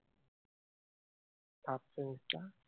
third fourth দুটা